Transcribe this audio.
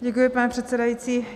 Děkuji, pane předsedající.